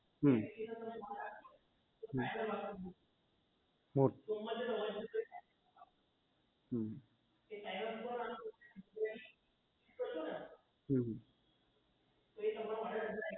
હમ હમ હમ